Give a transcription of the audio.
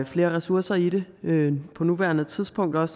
flere ressourcer i det på nuværende tidspunkt og at